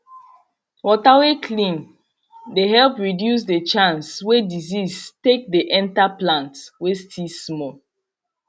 water way clean dey help reduce the chance way disease take dey enter plant way still small